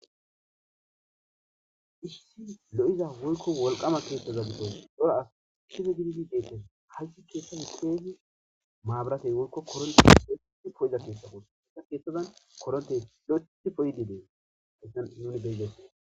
issi lo7iza woykko wolqama keethaza giddon cora ase gididi deettes hayssa keththaza giddon maaburatey woykko koronttey po7iza keththa gussakko hayssa keththazan maburatey woykko koronttey kehidi po7izayssi betteed